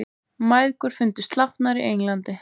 Mæðgur fundust látnar í Englandi